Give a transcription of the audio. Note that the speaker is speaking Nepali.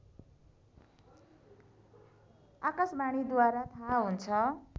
आकाशवाणीद्वारा थाह हुन्छ